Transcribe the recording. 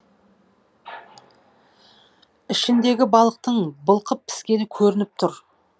ішіндегі балықтың былқып піскені көрініп тұр